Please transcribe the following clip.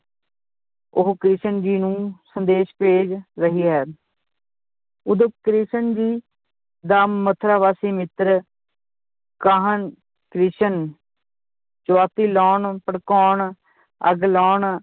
ਉਹ ਕ੍ਰਿਸ਼ਨ ਜੀ ਨੂੰ ਸੰਦੇਸ਼ ਭੇਜ ਰਹੀ ਹੈ ਉਦੋ ਕ੍ਰਿਸ਼ਨ ਜੀ ਦਾ ਮਥੁਰਾ ਵਾਸੀ ਮਿੱਤਰ ਕਾਹਨ ਕ੍ਰਿਸ਼ਨ ਲਾਉਣ ਭੜਕਾਉਣ ਅੱਗ ਲਾਉਣ